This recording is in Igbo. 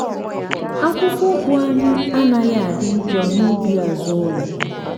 akwụkwọ ugu anyị anaghị adị njọ n'ubi azụ ụlọ.